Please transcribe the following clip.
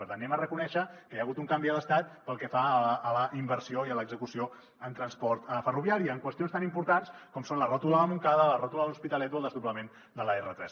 per tant reconeguem que hi ha hagut un canvi a l’estat pel que fa a la inversió i a l’execució en transport ferroviari en qüestions tan importants com són la ròtula de montcada la ròtula de l’hospitalet o el desdoblament de l’r3